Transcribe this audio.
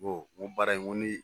n ko baara in n ko ni